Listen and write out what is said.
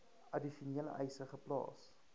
addisionele eise geplaas